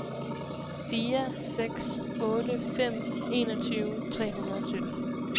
fire seks otte fem enogtyve tre hundrede og sytten